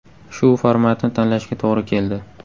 Shu formatni tanlashga to‘g‘ri keldi.